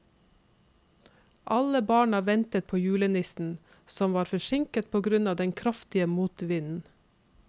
Alle barna ventet på julenissen, som var forsinket på grunn av den kraftige motvinden.